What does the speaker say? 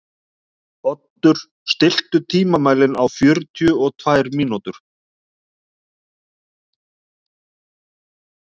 Oddur, stilltu tímamælinn á fjörutíu og tvær mínútur.